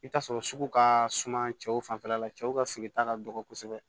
I bɛ t'a sɔrɔ sugu ka suma cɛw fanfɛla la cɛw ka feereta ka dɔgɔ kosɛbɛ